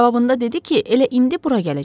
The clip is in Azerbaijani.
Cavabında dedi ki, elə indi bura gələcək.